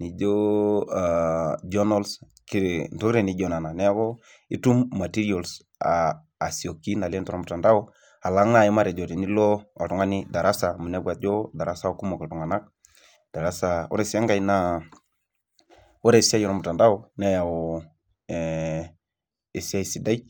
nijo journals, intokitin naijo nena. Niaku itum materials asioki naleng' tormutandao, alang naaji matejo tenilo oltung'ani darasa amuu inepu aajo darasa kumok iltung'anak, oore sii enkae oore esiai ormutandao neyau esiai sidai.